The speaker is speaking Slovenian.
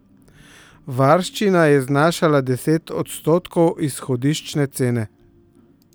Varščina je znašala deset odstotkov izhodiščne cene.